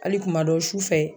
Hali kumadɔw su fɛ